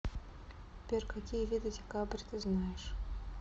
сбер какие виды декабрь ты знаешь